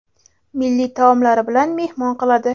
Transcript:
milliy taomlari bilan mehmon qiladi.